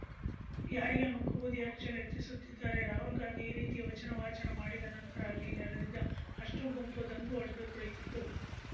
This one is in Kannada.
ಯಾರಿಗೆ ಮಂಕುಬೂದಿ ಎರಚಲು ಯತ್ನಿಸುತ್ತಿದ್ದಾರೆ ರಾಹುಲ್‌ ಗಾಂಧಿ ಈ ರೀತಿಯ ವಚನ ವಾಚನ ಮಾಡಿದ ನಂತರ ಅಲ್ಲಿ ನೆರೆದಿದ್ದ ಅಷ್ಟೂಗುಂಪು ದಂಗು ಹೊಡೆದು ಕುಳಿತಿತ್ತು